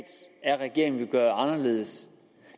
er regeringen vil gøre anderledes